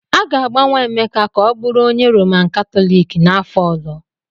A ga-agbanwe Emeka ka ọ bụrụ onye Roman Katọliki n'afọ ọzọ!